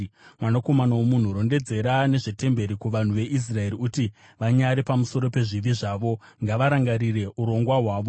“Mwanakomana womunhu, rondedzera nezvetemberi kuvanhu veIsraeri, kuti vanyare pamusoro pezvivi zvavo. Ngavarangarire urongwa hwayo,